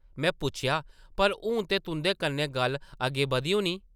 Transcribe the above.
में पुच्छेआ, ‘‘पर हून ते तुंʼदे कन्नै गल्ल अग्गें बधी होनी?’’